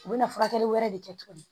U bɛ na furakɛli wɛrɛ de kɛ tuguni